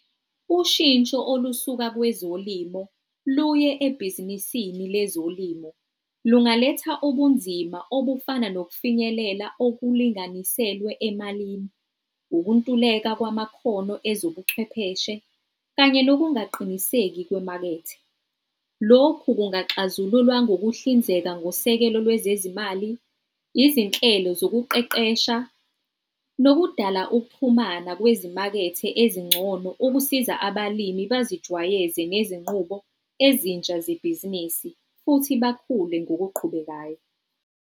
Ushintsho olusuka kwezolimo luye ebhizinisini lezolimo lungaletha ubunzima obufana nokufinyelela okulinganiselwe emalini, ukuntuleka kwamakhono ezobuchwepheshe, kanye nokungaqiniseki kwemakethe. Lokhu kungaxazululwa ngokuhlinzeka ngosekelo lwezezimali, izinhlelo zokuqeqesha, nokudala ukuxhumana kwezimakethe ezingcono ukusiza abalimi bazijwayeze nezinqubo ezintsha zebhizinisi futhi bakhule ngokuqhubekayo.